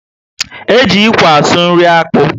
E ji ikwe asụ nri akpu